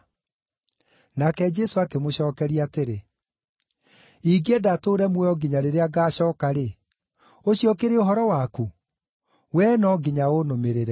Nake Jesũ akĩmũcookeria atĩrĩ, “Ingĩenda atũũre muoyo nginya rĩrĩa ngacooka-rĩ, ũcio ũkĩrĩ ũhoro waku? Wee no nginya ũnũmĩrĩre.”